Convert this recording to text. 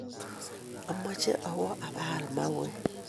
Amache awo ipaal mauwek